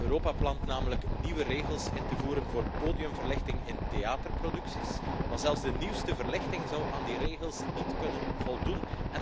Europa is namelijk van plan nieuwe regels in te voeren voor podiumverlichting in theaterproducties, maar zelfs de nieuwste verlichting zou aan die regels niet kunnen voldoen.